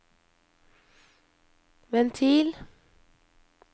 ventil